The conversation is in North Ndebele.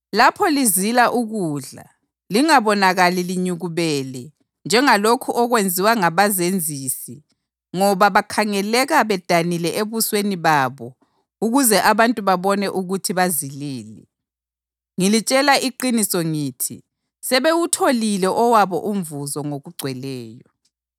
“Lapho lizila ukudla, lingabonakali linyukubele njengalokhu okwenziwa ngabazenzisi ngoba bakhangeleka bedanile ebusweni babo ukuze abantu babone ukuthi bazilile. Ngilitshela iqiniso ngithi sebewutholile owabo umvuzo ngokugcweleyo.